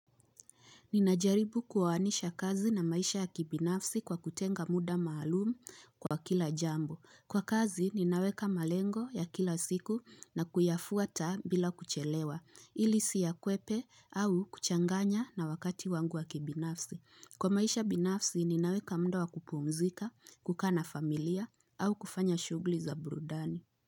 Ninajaribu kuwaanisha kazi na maisha ya kibinafsi kwa kutenga muda maalumu kwa kila jambo. Kwa kazi ninaweka malengo ya kila siku na kuyafuata bila kuchelewa ili siyakwepe au kuchanganya na wakati wangu wa kibinafsi. Kwa maisha binafsi ninaweka muda wa kupumzika, kukaa na familia au kufanya shughuli za burudani.